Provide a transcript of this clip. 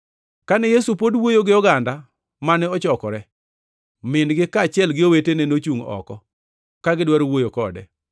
Kane Yesu pod wuoyo gi oganda mane ochokore, min-gi kaachiel gi owetene nochungʼ oko ka gidwaro wuoyo kode.